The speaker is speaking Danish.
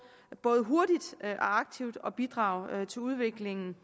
både hurtigt og aktivt at bidrage til udviklingen